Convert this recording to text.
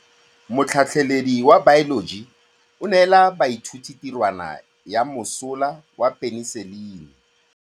Motlhatlhaledi wa baeloji o neela baithuti tirwana ya mosola wa peniselene.